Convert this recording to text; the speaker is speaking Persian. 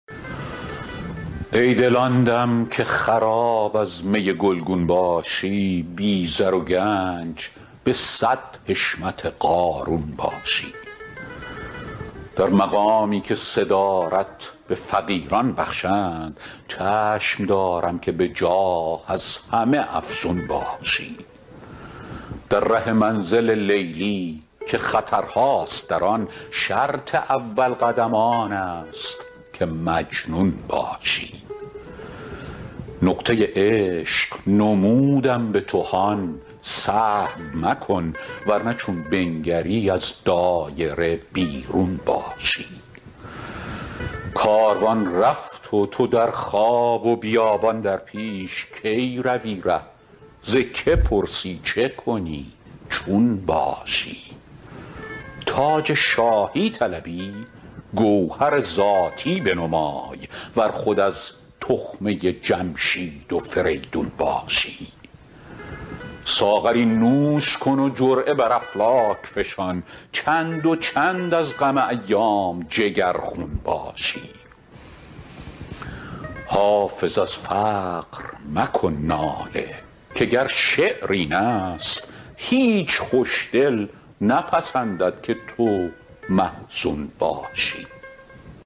ای دل آن دم که خراب از می گلگون باشی بی زر و گنج به صد حشمت قارون باشی در مقامی که صدارت به فقیران بخشند چشم دارم که به جاه از همه افزون باشی در ره منزل لیلی که خطرهاست در آن شرط اول قدم آن است که مجنون باشی نقطه عشق نمودم به تو هان سهو مکن ور نه چون بنگری از دایره بیرون باشی کاروان رفت و تو در خواب و بیابان در پیش کی روی ره ز که پرسی چه کنی چون باشی تاج شاهی طلبی گوهر ذاتی بنمای ور خود از تخمه جمشید و فریدون باشی ساغری نوش کن و جرعه بر افلاک فشان چند و چند از غم ایام جگرخون باشی حافظ از فقر مکن ناله که گر شعر این است هیچ خوش دل نپسندد که تو محزون باشی